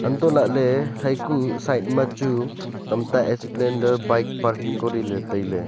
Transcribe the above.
untoh lahley haya kuh side ma chu tamta splendor bike parking koriley tailey.